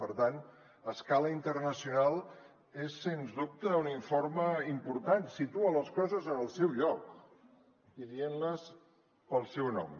per tant a escala internacional és sens dubte un informe important situa les coses en el seu lloc i dient les pel seu nom